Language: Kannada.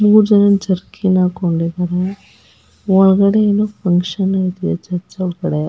ಮೂರು ಜನ ಜರ್ಕಿನ್ ಹಾಕೊಂಡಿದ್ದಾರೆ ಒಳಗಡೆ ಏನೋ ಫ್ಯಾಂಕ್ಷನ್ ಐತೆ ಚರ್ಚ್ ಒಳಗಡೆ.